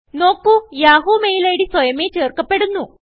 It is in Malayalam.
നോക്കു യാഹൂ മെയിൽ ഇഡ് സ്വയമേ ചേർക്കപ്പെടുന്നു